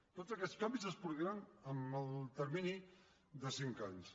tots aquests canvis es produiran en el termini de cinc anys